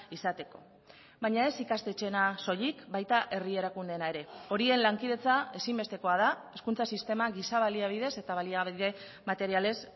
izateko baina ez ikastetxeena soilik baita herri erakundeena ere horien lankidetza ezinbestekoa da hezkuntza sistema giza baliabideez eta baliabide materialez